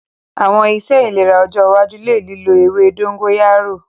Awọn iṣe ilera ọjọ iwaju le lilo ewe dogoyaro